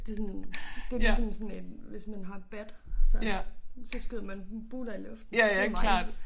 Det sådan det ligesom sådan en hvis man har bat så så skyder man buler i luften det mig